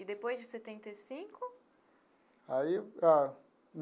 E depois de setenta e cinco? Aí a.